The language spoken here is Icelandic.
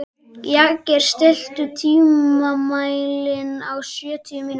Jagger, stilltu tímamælinn á sjötíu mínútur.